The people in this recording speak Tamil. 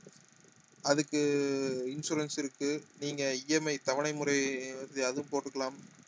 அதுக்கு insurance இருக்கு நீங்க EMI தவணை முறை அதுவும் போட்டுக்கலாம்